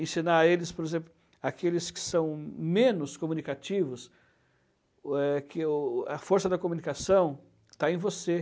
Ensinar a eles, por exemplo, aqueles que são menos comunicativos, eh, que o a força da comunicação está em você.